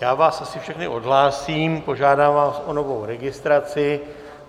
Já vás asi všechny odhlásím, požádám vás o novou registraci.